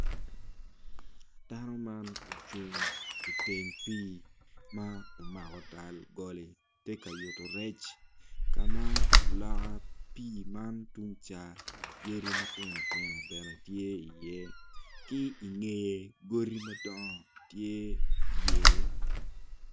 Dano man ocung iteng pii ma omako tal goli tye ka yuto rec ka ma loka pii man tung ca yadi matino tino bene tye iye ki ingeye godi madongo tye iye.